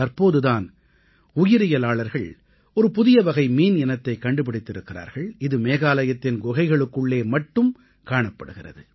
தற்போது தான் உயிரியலாளர்கள் ஒரு புதிய வகை மீன் இனத்தைக் கண்டுபிடித்திருக்கிறார்கள் இது மேகாலயத்தின் குகைகளுக்குள்ளே மட்டுமே காணப்படுகிறது